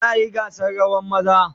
Za a yi gasa rawan maza?